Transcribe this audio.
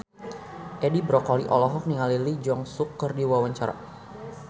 Edi Brokoli olohok ningali Lee Jeong Suk keur diwawancara